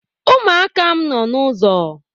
umuaka m no n’ụzọ